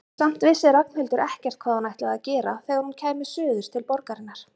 Samt vissi Ragnhildur ekkert hvað hún ætlaði að gera þegar hún kæmi suður til borgarinnar.